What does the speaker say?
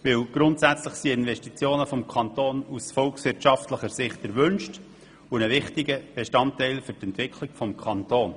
Grundsätzlich sind Investitionen des Kantons aus volkswirtschaftlicher Sicht erwünscht und ein wichtiges Mittel zur Entwicklung des Kantons.